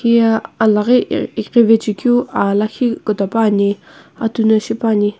heye alaghi ighivaechae keu ahlakhi kutopani atu no shipane.